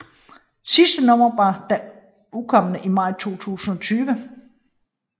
Det sidste nummer var da udkommet i maj 2020